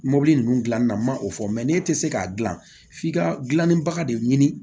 Mɔbili ninnu dilanni na ma o fɔ n'e tɛ se k'a dilan f'i ka gilanni baga de ɲini